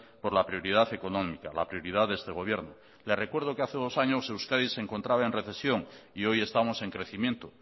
por la prioridad económica la prioridad de este gobierno le recuerdo que hace dos años euskadi se encontraba en recesión y hoy estamos en crecimiento